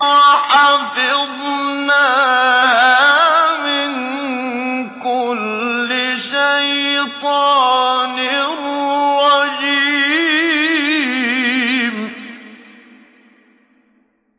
وَحَفِظْنَاهَا مِن كُلِّ شَيْطَانٍ رَّجِيمٍ